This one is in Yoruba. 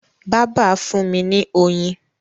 bàbà fún mí ní oyin.